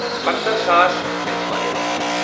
پنٛژھ ساس گژھِ واریٛاہ درٛوٚگ۔